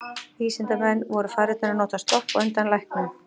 Vísindamenn voru farnir að nota sloppa á undan læknum.